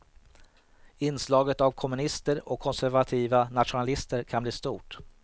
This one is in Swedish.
Inslaget av kommunister och konservativa nationalister kan bli stort.